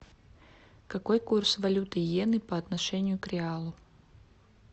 какой курс валюты иены по отношению к реалу